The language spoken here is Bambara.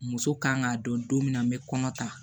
Muso kan k'a dɔn don min na n bɛ kɔnɔ ta